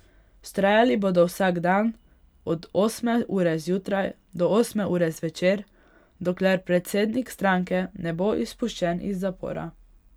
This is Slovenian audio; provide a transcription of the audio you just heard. Vztrajali bodo vsak dan, od osme ure zjutraj do osme ure zvečer, dokler predsednik stranke ne bo izpuščen iz zapora.